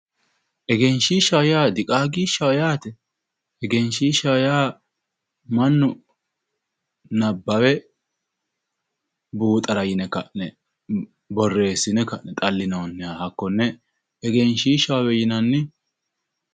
Egenshiishshaho yaa diqaagishshaho yaate egenshiishshaho yaa mannu nabbawe buuxara yine ka'ne borreessine ka'ne xallinoonniha hakkoye egenshiishshaho yinanni